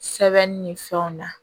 Sɛbɛnni ni fɛnw na